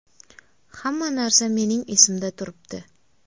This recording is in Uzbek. Hamma narsa mening esimda turibdi.